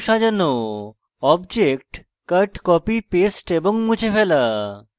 objects cut copy paste এবং মুছে ফেলা